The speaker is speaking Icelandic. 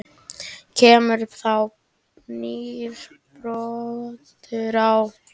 Kemur þá nýr broddur á?